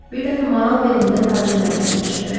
Bir dəfə maral belində tacirlər gəlmişdilər.